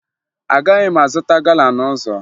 Agaghị m azụta gala n'ụzọ